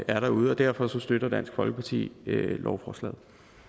er derude og derfor støtter dansk folkeparti lovforslaget